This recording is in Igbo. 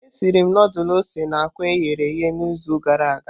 Esiri m ndulu ose na àkwá e ghere eghe n'izu gara aga.